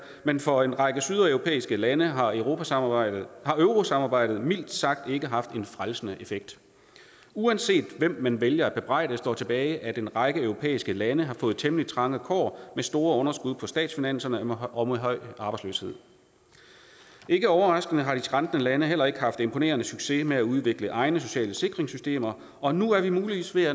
men for en række sydeuropæiske lande har eurosamarbejdet eurosamarbejdet mildt sagt ikke haft en frelsende effekt uanset hvem man vælger at bebrejde står tilbage at en række europæiske lande har fået temmelig trange kår med store underskud på statsfinanserne og med høj arbejdsløshed ikke overraskende har de skrantende lande heller ikke haft imponerende succes med at udvikle egne sociale sikringssystemer og nu er vi muligvis ved at